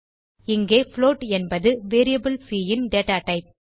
இங்கே புளோட் என்பது வேரியபிள் சி ன் டேட்டா டைப்